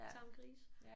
Tamgrise